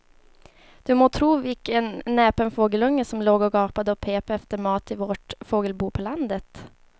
Du må tro vilken näpen fågelunge som låg och gapade och pep efter mat i vårt fågelbo på landet.